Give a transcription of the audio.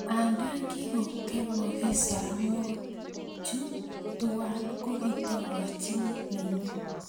Anda kikakong'emogis soromookchi tuwai, ko kitokochini nenyu.